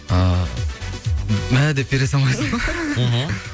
ы мә деп бере салмайсың ғой мхм